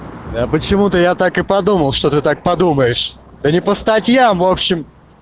я почему-то я так и подумал что ты так подумаешь и не по статьям в общем